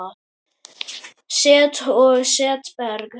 Set og setberg